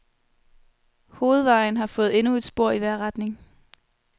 Hovedvejen har fået endnu et spor i hver retning.